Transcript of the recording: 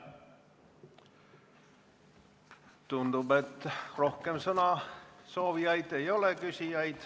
Tundub, et rohkem küsida soovijaid ei ole.